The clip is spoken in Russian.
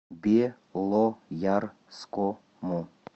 белоярскому